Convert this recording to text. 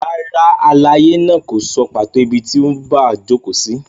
Rárá, àlàyé náà kò sọ pàtó ibi tí Ubwa jókòó sí.